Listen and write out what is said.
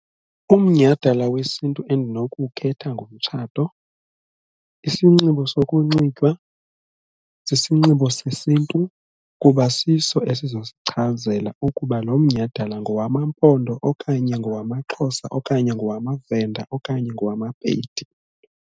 Umnyhadala wesiNtu endinokuwukhetha ngumtshato, isinxibo sokunxitywa sisinxibo sesiNtu kuba siso esizosichazela ukuba lo mnyhadala ngowamaMpondo, okanye ngowamaXhosa, okanye ngowamaVenda okanye ngowamaPedi.